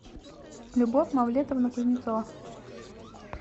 любовь мавлетовна кузнецова